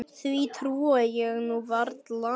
Því trúi ég nú varla.